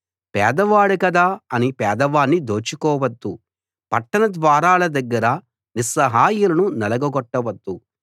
పేదవాడు గదా అని పేదవాణ్ణి దోచుకోవద్దు పట్టణ ద్వారాల దగ్గర నిస్సహాయులను నలగ గొట్టవద్దు